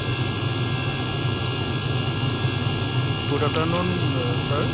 good afternoon uh sir